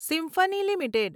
Symphony limited